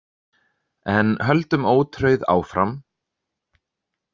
En höldum ótrauð áfram.